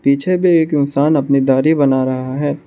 पीछे में एक इन्सान अपनी दाढ़ी बना रहा है।